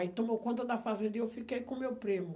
Aí tomou conta da fazenda e eu fiquei com meu primo.